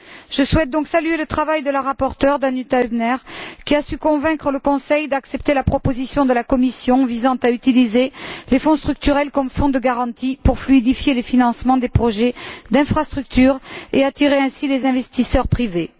Je souhaite donc saluer le travail de la rapporteure, Danuta Hübner, qui a su convaincre le Conseil d'accepter la proposition de la Commission visant à utiliser les Fonds structurels comme fonds de garantie pour fluidifier les financements des projets d'infrastructures et attirer ainsi les investisseurs privés.